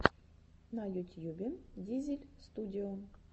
на ютьюбе дизель студио